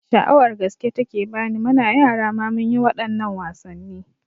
Sha'awar gaske take bani, muna yara ma munyi waɗannan wasanni